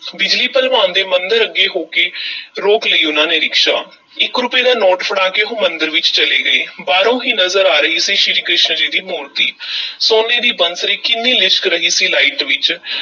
ਬਿਜਲੀ ਭਲਵਾਨ ਦੇ ਮੰਦਰ ਅੱਗੇ ਹੋ ਕੇ ਰੋਕ ਲਈ ਉਹਨਾਂ ਨੇ ਰਿਕਸ਼ਾ, ਇੱਕ ਰੁਪਏ ਦਾ ਨੋਟ ਫੜਾ ਕੇ ਉਹ ਮੰਦਰ ਵਿੱਚ ਚਲੇ ਗਏ, ਬਾਹਰੋਂ ਈ ਨਜ਼ਰ ਆ ਰਹੀ ਸੀ ਸ੍ਰੀ ਕ੍ਰਿਸ਼ਨ ਜੀ ਦੀ ਮੂਰਤੀ ਸੋਨੇ ਦੀ ਬੰਸਰੀ ਕਿੰਨੀ ਲਿਸ਼ਕ ਰਹੀ ਸੀ light ਵਿੱਚ।